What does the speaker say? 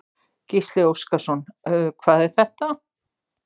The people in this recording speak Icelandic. Gísli Óskarsson: Hvað er þetta?